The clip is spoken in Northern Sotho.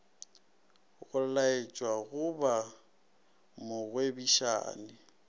go laletšwa go ba mogwebišani